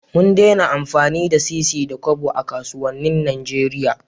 Mun dena amfani da sisi da Kobo a kasuwanin Nigeria